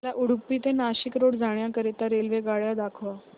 मला उडुपी ते नाशिक रोड जाण्या करीता रेल्वेगाड्या दाखवा